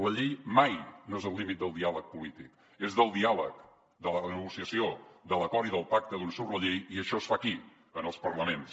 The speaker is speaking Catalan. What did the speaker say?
la llei mai no és el límit del diàleg polític és del diàleg de la negociació de l’acord i del pacte d’on surt a llei i això es fa aquí en els parlaments